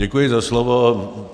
Děkuji za slovo.